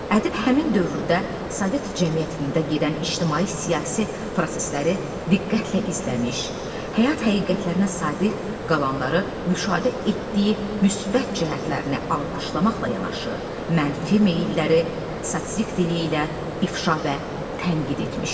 Ədib həmin dövrdə Sovet cəmiyyətində gedən ictimai-siyasi prosesləri diqqətlə izləmiş, həyat həqiqətlərinə sadiq qalanları müşahidə etdiyi müsbət cəhətlərini alqışlamaqla yanaşı, mənfi meyilləri satirik dili ilə ifşa və tənqid etmişdi.